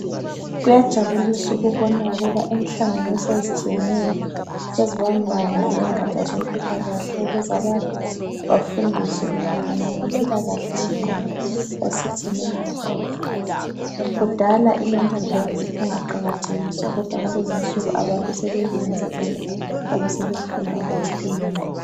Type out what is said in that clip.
Kuyajabulisa ukubona ukuba inhlanganiso ezitshiyeneyo sezibambana lengatsha zempilakahle ukuze abantu bafundiswe mayelana lempilakahle yengqondo esithi yi mental health. Kudala imental health ibingaqakathekiswa kodwa kulezinsuku abantu sebeyinanzelela njalo sebefunda ukuthi iyini.